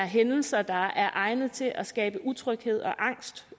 hændelser der er egnet til at skabe utryghed og angst